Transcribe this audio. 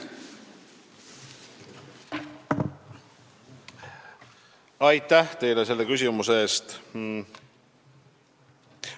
Aitäh teile selle küsimuse eest!